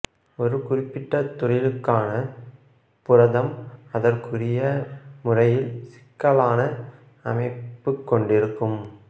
ஒரு குறிப்பிட்ட தொழிலுக்கான புரதம் அதற்குரிய முறையில் சிக்கலான அமைப்புக் கொண்டிருக்கும்